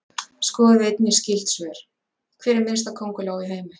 Skoðið einnig skyld svör: Hver er minnsta könguló í heimi?